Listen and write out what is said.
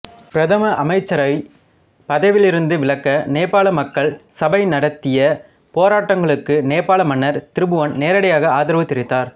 பிரதம அமைச்சரைப் பதவியிலிருந்து விலக்க நேபாள மக்கள் சபை நடத்திய போராட்டங்களுக்கு நேபாள மன்னர் திருபுவன் நேரடியாக ஆதரவு தெரிவித்தார்